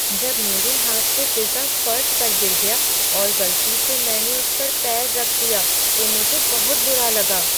जब मेरे हाथ से पिज्जा फर्श पर गिरा दिया और गलती से मैंने उस पर पैर रख दिया तो मुझे बहुत बुरा लगा।